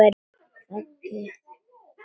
Raggi virðir þær fyrir sér.